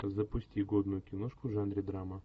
запусти годную киношку в жанре драма